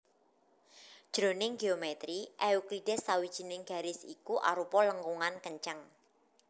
Jroning géomètri Euklides sawijining garis iku arupa lengkungan kenceng